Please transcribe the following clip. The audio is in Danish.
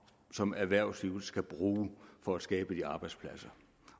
som erhvervslivet skal bruge for at skabe de arbejdspladser